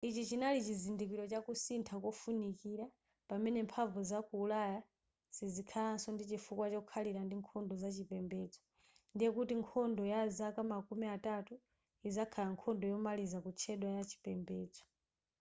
ichi chinali chizindikiro cha kusintha kofunikira pamene mphamvu za ku ulaya sizikhalanso ndi chifukwa chokhalira ndi nkhondo za chipembedzo ndiye kuti nkhondo ya zaka makumi atatu izakhala nkhondo yomaliza kutchedwa ya chipembedzo